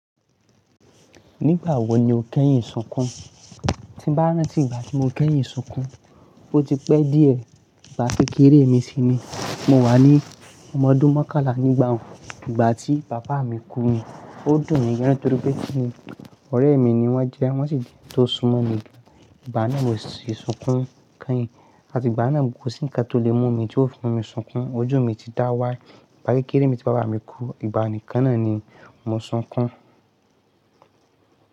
Nígbà wo ni o kẹ́yìn sunkún? Ti bá rántí ìgbà tí mo kẹ́yìn sunkún, o ti pẹ́ díẹ̀, ìgbà kékeré mi si ni. Mo wà ní ọmọ ọdún mọ́kànlá nígbà n. Ìgbà tí bàbá mi kú ni, o dùn mi gan torí pé kí ni, ọ̀rẹ́ mi ni wọ́n jẹ́, wọ́n sì ti n tó sunmọ́ mi. Ìgbà náà mo si sunkún kẹ́yìn, àti ìgbà náà ko sí ǹkan tó lè mú mi tí ó fi mi sunkún. Ojú mi ti dá wá, ìgbà kékeré mi tí bàbá mi kú, ìgbà nìkan náà ni mo sunkún.